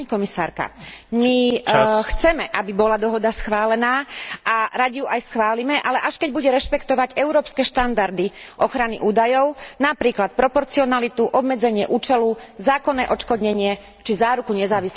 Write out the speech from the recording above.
Pani Komisárka, my chceme, aby bola dohoda schválená, a radi ju aj schválime, ale až keď bude rešpektovať európske štandardy ochrany údajov, napríklad proporcionalitu, obmedzenie účelu, zákonné odškodnenie či záruku nezávislého preskúmania.